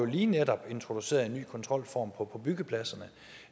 vi netop introduceret en ny kontrolform på byggepladserne